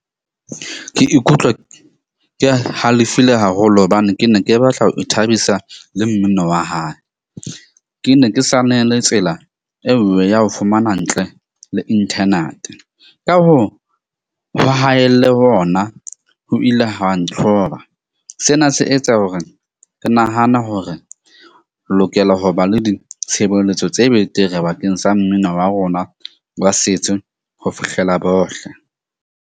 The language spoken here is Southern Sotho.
Ke ikutlwa ke halefile haholo hobane ke ne ke batla ho ithabisa le mmino wa hae, ke ne ke sanele tsela eo ya ho fumana ntle le internate. Ka hoo, ho haelle hona ho ile ha ntloba, sena se etsa hore ke nahana ho re lokela ho ba le ditshebeletso tse betere bakeng sa mmino wa rona wa setso ho fihlela bohle.